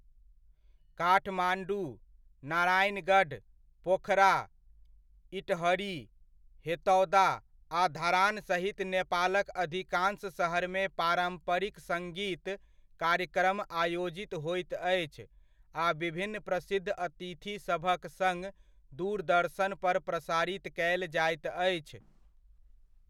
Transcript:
काठमाण्डू, नारायणगढ़, पोखरा, इटहरी, हेतौदा आ धरान सहित नेपालक अधिकाँश सहरमे पारम्परिक सङ्गीत कार्यक्रम आयोजित होइत अछि आ विभिन्न प्रसिद्ध अतिथिसभक सङ्ग दूरदर्शनपर प्रसारित कयल जाइत अछि।